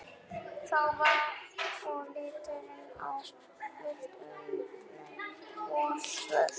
Þá var og litið á villtu unglingana í svörtu